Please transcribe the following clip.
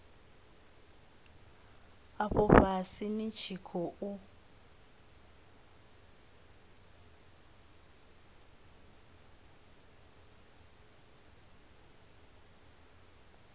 afho fhasi ni tshi khou